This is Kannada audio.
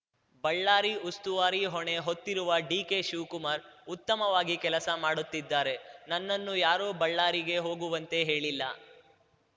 ಬಳ್ಳಾರಿ ಉಸ್ತುವಾರಿ ಹೊಣೆ ಹೊತ್ತಿರುವ ಡಿಕೆ ಶಿವಕುಮಾರ್‌ ಉತ್ತಮವಾಗಿ ಕೆಲಸ ಮಾಡುತ್ತಿದ್ದಾರೆ ನನ್ನನ್ನು ಯಾರೂ ಬಳ್ಳಾರಿಗೆ ಹೋಗುವಂತೆ ಹೇಳಿಲ್ಲ